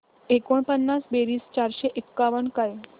एकोणपन्नास बेरीज चारशे एकावन्न काय